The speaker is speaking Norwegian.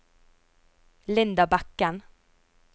Linda Bekken